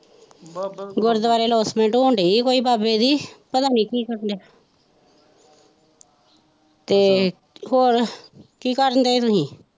ਗੁਰਦੁਆਰੇ announcement ਹੋਣ ਦੀ ਹੈ ਕੋਈ ਬਾਬੇ ਦੀ ਪਤਾ ਨਹੀਂ ਕੀ ਕਹੀ ਤੇ ਹੋਰ ਕੀ ਕਰਨ ਦੇ ਤੁਸੀਂ?